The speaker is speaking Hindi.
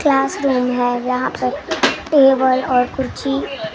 क्लासरूम है यहाँ पर टेबल और कुर्सी।